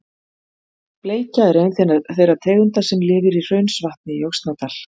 Bleikja er ein þeirra tegunda sem lifir í Hraunsvatni í Öxnadal.